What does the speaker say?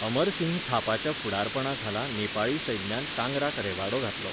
अमरसिंह थापाच्या फुडारपणाखाला नेपाळी सैन्यान कांगराक रेवाडो घातलो.